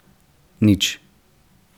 Nič.